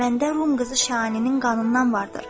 Məndə rum qızı Şahaninin qanından vardır.